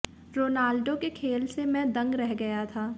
Ronaldo के खेल से मैं दंग रह गया था